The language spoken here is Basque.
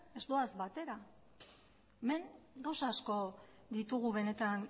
ez doaz batera hemen gauza asko ditugu benetan